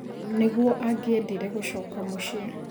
nĩguo angĩendire gũcoka mũciĩ